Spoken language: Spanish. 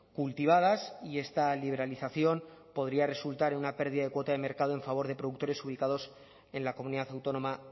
cultivadas y esta liberalización podría resultar en una pérdida de cuota de mercado en favor de productores ubicados en la comunidad autónoma